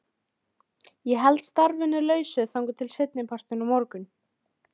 Það hafði hann svo sannarlega staðið við.